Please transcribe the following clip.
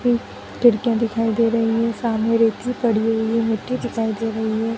खि खिड़कियाँ दिखाई दे रही हैं सामने रेती पड़ी हुई हैं मिट्टी दिखाई दे रही है।